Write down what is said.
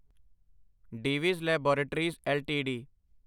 Divi's laboratories LTD